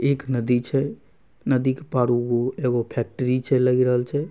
एक नदी छै नदी क पार वो एगो फैक्ट्री छै लगी राल छै ।